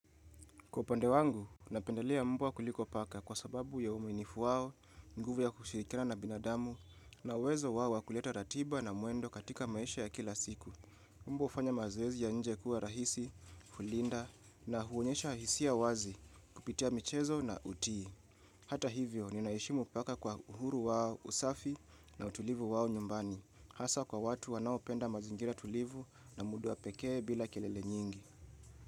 Kwa upande wangu, napendelea mbwa kuliko paka kwa sababu ya uaminifu wao, nguvu ya kushirikina na binadamu, na uwezo wao wa kuleta ratiba na mwendo katika maisha ya kila siku. Mbwa hufanya mazoezi ya nje kuwa rahisi, kulinda, na huonyesha hisia wazi kupitia michezo na utii. Hata hivyo, ninaheshimu paka kwa uhuru wao usafi na utulivu wao nyumbani. Hasa kwa watu wanaopenda mazingira tulivu na muda pekee bila kelele nyingi.